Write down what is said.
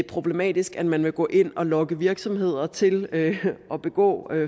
problematisk at man vil gå ind og lokke virksomheder til at begå